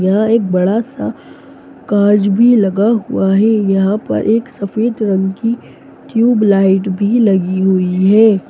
यहाँ एक बडा सा काँच भी लगा हुआ है यहाँ पर एक सफ़ेद रंग की ट्यूब लाइट भी लगी हुई है।